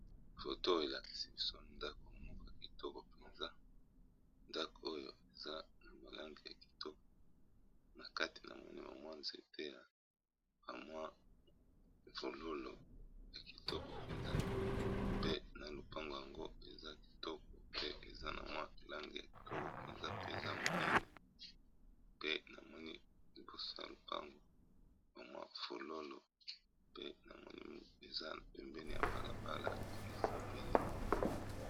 Foto oyo elakisi biso ndako moko kitoko mpenza, ndako oyo eza na malange ya kitoko na kati na moneme mwa nzete ya bamwa fololo ya kitoko mpenza pe, na lopango yango eza kitoko pe, eza na mwa lange ya kitoko mpenza pe eza monene pe namoni liboso ya lopango ba mwa fololo pe na moim eza pembeni ya balabala ya mabele.